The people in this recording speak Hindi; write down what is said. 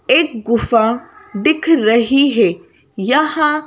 एक गुफा दिख रही है यहाँ--